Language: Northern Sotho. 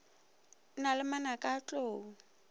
na le manaka a tlou